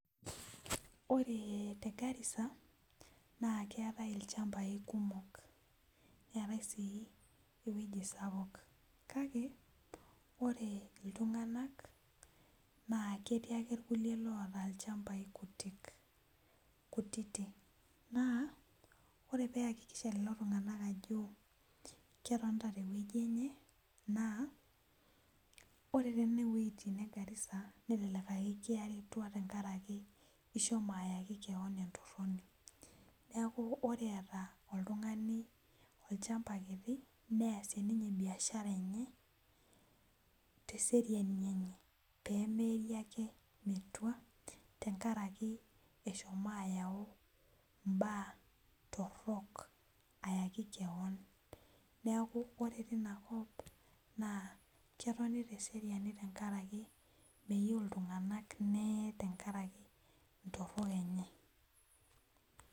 Ore te Garissa naa keatae ilchambai kumok, neatae sii weji sapuk kake ore ltunganak naa ketii ake lkule loota ilchambai kutiti, naa ore peakikisha lelo tungana aajo ketonita te weji enye, naa ore teina wejitin egarissa, netaleleka tengaraki ishomo ake keon intoroni, neaku ore eata oltungani olchamba kiti, neasie ninye mbiashara enye te seriani enye pemeei ake metua tengaraki eshomo ayau imbaa torrok ayaki keon, naaku kore teina kop, naa ketoni te seriani te ngaraki meyeu ltunganak neyei tengaraki ntorok enye.